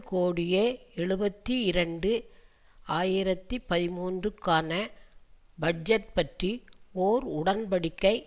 கோடியே எழுபத்தி இரண்டு ஆயிரத்தி பதிமூன்றுக்கான பட்ஜெட் பற்றி ஒர் உடன் படிக்கை